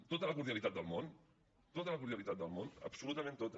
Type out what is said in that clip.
tota la cordialitat del món tota la cordialitat del món absolutament tota